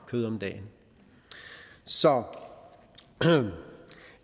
kød om dagen så